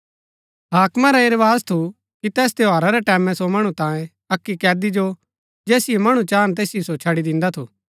हाकमा रा ऐह रवाज थू कि तैस त्यौहारा रै टैमैं सो मणु तांयें अक्की कैदी जो जैसिओ मणु चाहन तैसिओ सो छड़ी दिन्दा थू